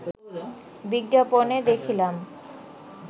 বিজ্ঞাপনে দেখিলাম